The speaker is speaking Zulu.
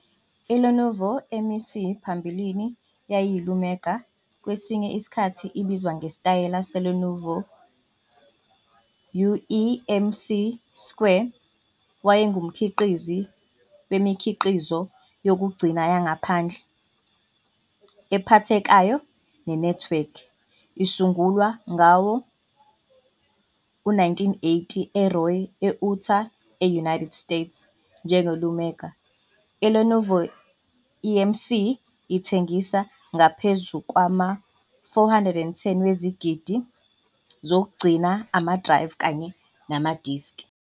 ILenovoEMC phambilini eyayiyi-Iomega, kwesinye isikhathi ibizwa ngesitayela seLenovo U-EMC square, wayengumkhiqizi wemikhiqizo yokugcina yangaphandle, ephathekayo nenethiwekhi. Isungulwe ngawo-1980 eRoy, eUtah, e-United States njenge-Iomega, iLenovoEMC ithengise ngaphezu kwama-410 wezigidi zokugcina amadrayivu kanye namadiski.